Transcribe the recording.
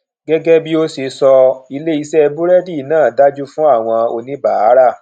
gẹgẹ bí o ṣe o ṣe sọ ilé iṣé burẹdi náà dáa jù fún àwọn oníbàárà